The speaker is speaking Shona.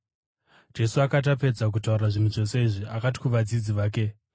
Jesu akati apedza kutaura zvinhu zvose izvi, akati kuvadzidzi vake,